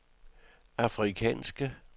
afrikanske